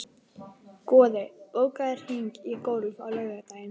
Goði, bókaðu hring í golf á laugardaginn.